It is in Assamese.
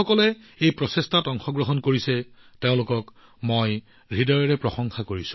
এই প্ৰচেষ্টাৰ অংশ হোৱা সকলোকে মই আন্তৰিক প্ৰশংসা কৰিছো